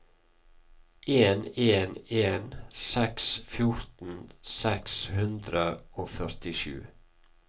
en en en seks fjorten seks hundre og førtisju